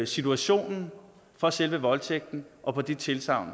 situationen for selve voldtægten og på de tilsagn